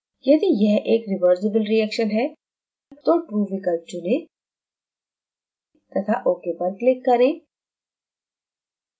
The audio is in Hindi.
यदि यह एक reversible reaction है तो true विकल्प चुनें तथा ok पर click करें